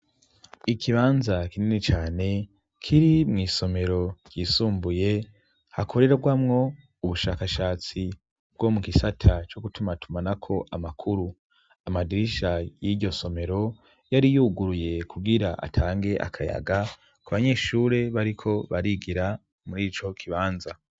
Ikibanza kinini cane kiri mw'isomero ryisumbuye hakorerwamwo ubushakashatsi bwo mu gisata cyo gutumatuma na ko amakuru amadirisha y'iryo somero yari yuguruye kubwira atange akayaga ku banyeshure bariko barigira muri ico kibanza.